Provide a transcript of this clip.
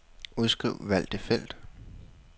Udskriv valgte felt.